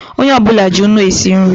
Onye ọ bụla ji nnu esi nri